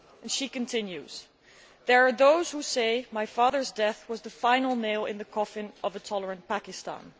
She continues There are those who say my father's death was the final nail in the coffin for a tolerant Pakistan.